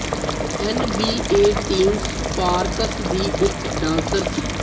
N B A team Sparks ਦੀ ਇਕ dancer ਸੀ